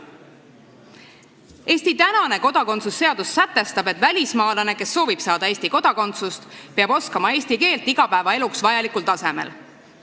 Eesti kodakondsuse seadus sätestab, et välismaalane, kes soovib saada Eesti kodakondsust, peab oskama eesti keelt igapäevaeluks vajalikul tasemel.